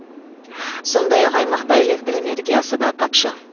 сондақ ақ аймақта электр энергиясы да тапшы